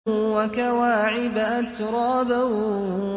وَكَوَاعِبَ أَتْرَابًا